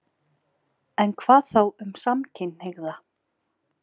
En hvað þá um samkynhneigða?